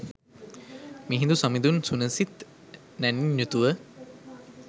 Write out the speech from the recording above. මිහිඳු සමිඳුන් සුනිසිත් නැණින් යුතුව